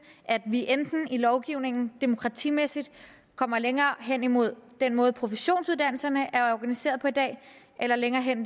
at vi i lovgivningen demokratimæssigt kommer længere hen mod den måde professionsuddannelserne er organiseret på i dag eller længere hen